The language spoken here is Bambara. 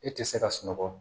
E tɛ se ka sunɔgɔ